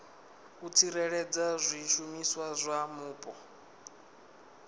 u tsireledza zwishumiswa zwa mupo